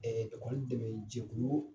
dɛmɛ jɛkulu